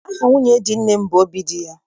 Aha nwunye di nne m bụ Obidiya.